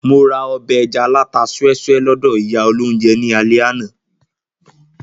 Mo ra ọbẹ̀ ẹja alata súẹ́súẹ́ lọ́dọ̀ ìyá olóunjẹ ní alẹ́ àná